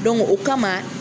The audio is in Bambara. o kama